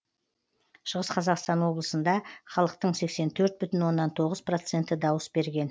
шығыс қазақстан облысында халықтың сексен төрт бүтін оннан тоғыз проценті дауыс берген